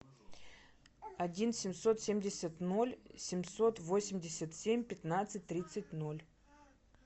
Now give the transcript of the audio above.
один семьсот семьдесят ноль семьсот восемьдесят семь пятнадцать тридцать ноль